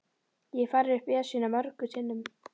Ég hef farið upp Esjuna mörgum sinnum.